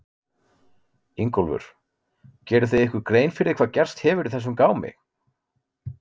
Ingólfur: Gerið þið ykkur grein hvað gerst hefur í þessum gámi?